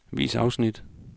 Vis afsnit.